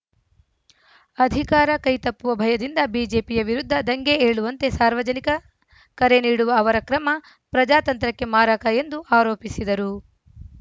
ಅಧಿಕಾರ ಕೈತಪ್ಪುವ ಭಯದಿಂದ ಬಿಜೆಪಿಯ ವಿರುದ್ಧ ದಂಗೆ ಏಳುವಂತೆ ಸಾರ್ವಜನಿಕ ಕರೆ ನೀಡುವ ಅವರ ಕ್ರಮ ಪ್ರಜಾತಂತ್ರಕ್ಕೆ ಮಾರಕ ಎಂದು ಆರೋಪಿಸಿದರು